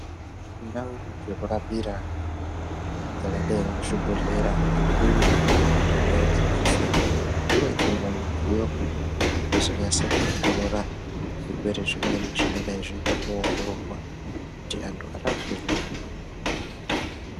Ndau dzekurapira dzakadai ngezvibhedhlera zvikuru, indau dzinosisirwa kunge dzinewo mudziyo yekunyasa kuongorora zvirwere zvimweni zvingadai zveida kuongororwa kuti antu arapwe zvemene mene.